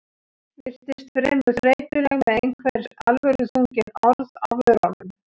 Virtist fremur þreytuleg með einhver alvöruþrungin orð á vörunum.